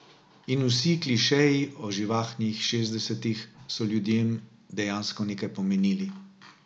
In vsi klišeji o živahnih šestdesetih so ljudem dejansko nekaj pomenili.